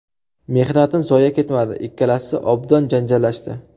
Mehnatim zoye ketmadi, ikkalasi obdon janjallashdi.